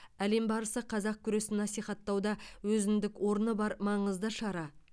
әлем барысы қазақ күресін насихаттауда өзіндік орны бар маңызды шара